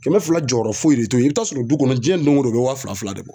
Kɛmɛ fila jɔyɔrɔ foyi de t'o ye. I bi taa sɔrɔ du kɔnɔ jiyɛ doŋo don o be wa fila-fila de bɔ.